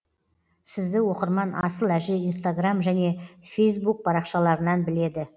сізді оқырман асыл әже инстаграм және фейсбук парақшаларынан біледі